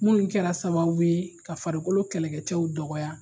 Minnu kɛra sababu ye ka farikolo kɛlɛkɛcɛw dɔgɔ